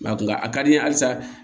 Nka a ka di n ye halisa